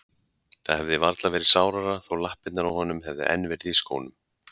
Það hefði varla verið sárara þó lappirnar á honum hefðu enn verið í skónum.